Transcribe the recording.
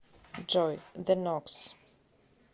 джой зе нокс